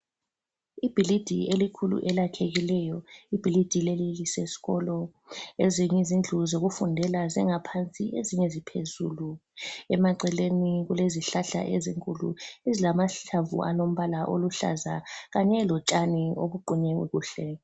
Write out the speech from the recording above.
Ibhilidi elikhulu elakhekileyo, ibhilidi leli liseskolo ezinye izindlu zokufundela zingaphansi ezinye ziphezulu emaceleni kulezihlahla ezinkulu ezilamahlamvu alombala oluhlaza kanye lotshani obuqunywe kuhle.